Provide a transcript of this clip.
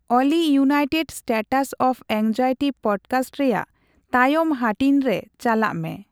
ᱚᱞᱤ United States of Anxiety podcast ᱨᱮᱭᱟᱜ ᱛᱟᱭᱚᱢ ᱦᱟᱹᱴᱤᱧ ᱨᱮ ᱪᱟᱞᱟᱜ ᱢᱮ᱾